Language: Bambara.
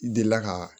Delila ka